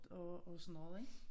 Og og sådan noget ik